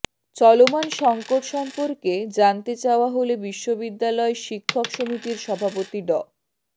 চলমান সংকট সম্পর্কে জানতে চাওয়া হলে বিশ্ববিদ্যালয় শিক্ষক সমিতির সভাপতি ড